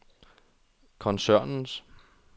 koncernens